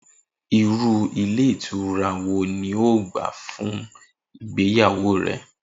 Irú ilé ìtura ni o óò gbà fún ìgbéyàwó rè̩?